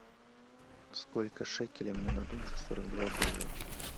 сколько шекелей мне дадут за сорок два доллара